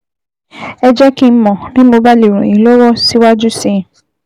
Ẹ jẹ́ kí n mọ̀ bí mo bá lè ràn yín lọ́wọ́ síwájú sí i